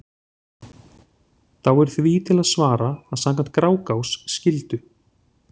Þá er því til að svara að samkvæmt Grágás skyldu